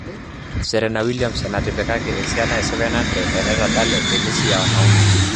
Serena Williams enataetipikaki esiana e 700 tenetadale tenisi ya wanaume''